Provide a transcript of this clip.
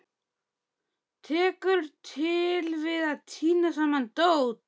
Tekur til við að tína saman dót.